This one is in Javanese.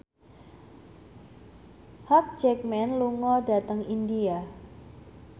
Hugh Jackman lunga dhateng India